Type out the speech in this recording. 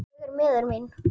Ég er miður mín.